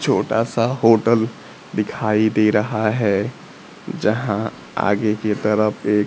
छोटा सा होटल दिखाई दे रहा है। जहां आगे की तरफ एक--